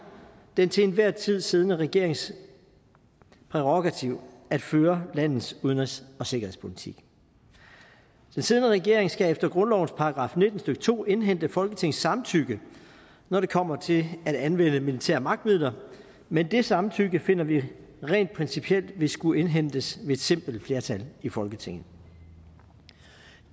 den til enhver tid siddende regerings prærogativ at føre landets udenrigs og sikkerhedspolitik den siddende regering skal efter grundlovens § nitten stykke to indhente folketingets samtykke når det kommer til at anvende militære magtmidler men det samtykke finder vi rent principielt vil skulle indhentes ved et simpelt flertal i folketinget